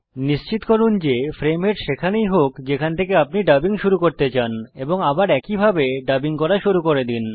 নিশ্চিত করুন যে ফ্রেম হেড সেখানেই হোক যেখান থেকে আপনি ডাবিং শুরু করতে চান এবং আবার একইভাবে ডাবিং করা শুরু করে দিন